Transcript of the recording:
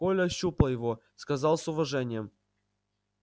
коля ощупал его сказал с уважением